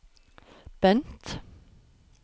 Bent